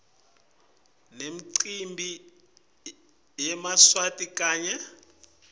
nemicimbi yemaswati kanye